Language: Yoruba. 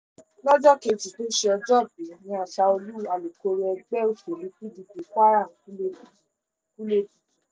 lọ́jọ́ kejì tó ṣe òjòòbí ni ashaolu alukoro ẹgbẹ́ òsèlú pdp kwara kú lójijì kú lójijì